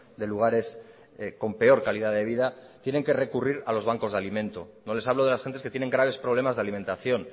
de lugares con peor calidad de vida tienen que recurrir a los bancos de alimento no les hablo de las gentes que tienen graves problemas de alimentación